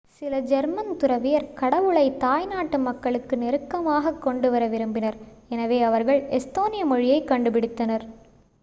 சில ஜெர்மன் துறவியர் கடவுளைத் தாய்நாட்டு மக்களுக்கு நெருக்கமாகக் கொண்டுவர விரும்பினர் எனவே அவர்கள் எஸ்தோனிய மொழியைக் கண்டுபிடித்தனர்